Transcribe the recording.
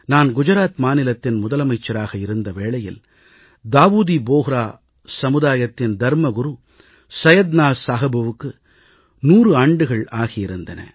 நான் குஜராத் மாநிலத்தின் முதலமைச்சராக இருந்த வேளையில் தாவூதி போஹ்ரா சமுதாயத்தின் தர்மகுரு சையத்னா சாஹிபுக்கு 100 ஆண்டுகள் ஆகியிருந்தன